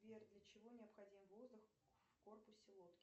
сбер для чего необходим воздух в корпусе лодки